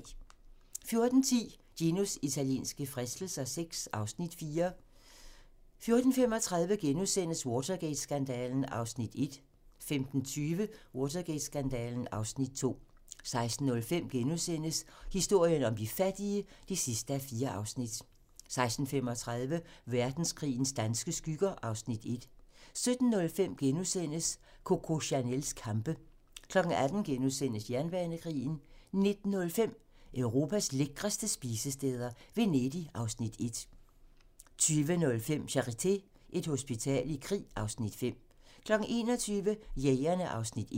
14:10: Ginos italienske fristelser VI (Afs. 4) 14:35: Watergate-skandalen (Afs. 1)* 15:20: Watergate-skandalen (Afs. 2) 16:05: Historien om de fattige (4:4)* 16:35: Verdenskrigens danske skygger (Afs. 1) 17:05: Coco Chanels kampe * 18:00: Jernbanekrigen * 19:05: Europas lækreste spisesteder - Venedig (Afs. 1) 20:05: Charité - Et hospital i krig (Afs. 5) 21:00: Jægerne (Afs. 1)